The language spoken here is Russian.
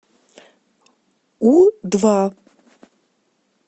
у два